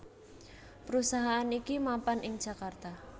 Perusahaan iki mapan ing Jakarta